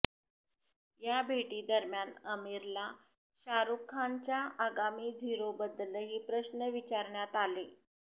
या भेटीदरम्यान आमिरला शाहरूखच्या आगामी झिरोबद्दलही प्रश्न विचारण्यात आले